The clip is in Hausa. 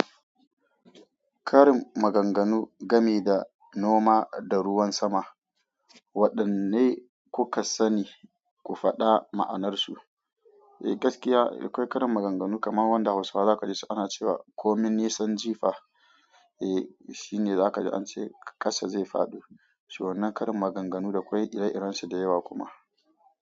Karin maganganu game da noma da ruwan sama, waɗanne kuka sani ku faɗa ma'anarsu? Eh gaskiya akwai karin maganganu kamar wanda hausawa zaka gaishe ana cewa "Komin nisan jifa", eh shine zaka ji ance ƙasa zai fado. Suna karin maganganu da akwai ire-iren su da yawa kuma.